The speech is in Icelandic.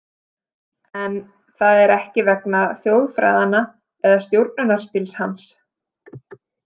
En það er ekki vegna þjóðfræðanna eða stjórnunarstíls hans?